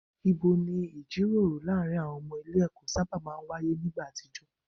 Ibo ni ìjíròrò láàárín àwọn ọmọ ilé ẹ̀kọ́ sábà máa ń wáyé nígbà àtijọ́?